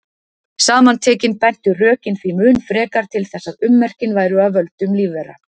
Saman tekin bentu rökin því mun frekar til þess að ummerkin væru af völdum lífvera.